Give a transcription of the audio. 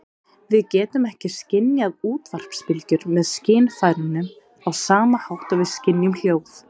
Við getum ekki skynjað útvarpsbylgjur með skynfærunum á sama hátt og við skynjum hljóð.